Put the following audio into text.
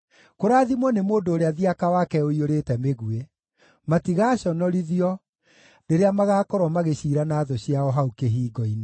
Kũrathimwo nĩ mũndũ ũrĩa thiaka wake ũiyũrĩte mĩguĩ. Matigaaconorithio rĩrĩa magaakorwo magĩciira na thũ ciao hau kĩhingo-inĩ.